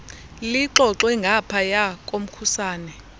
lixoxwe ngaphaya komkhusane